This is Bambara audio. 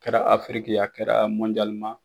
Kɛra Afiriki a kɛra